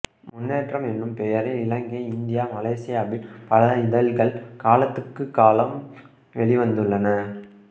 முன்னேற்றம் எனும் பெயரில் இலங்கை இந்தியா மலேசியாவில் பல இதழ்கள் காலத்துக்குக் காலம் வெளிவந்துள்ளன